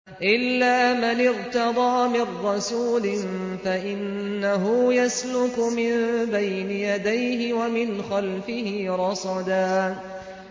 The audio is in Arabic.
إِلَّا مَنِ ارْتَضَىٰ مِن رَّسُولٍ فَإِنَّهُ يَسْلُكُ مِن بَيْنِ يَدَيْهِ وَمِنْ خَلْفِهِ رَصَدًا